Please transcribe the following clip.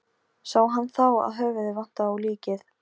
Sá hann þá að höfuðið vantaði á líkið.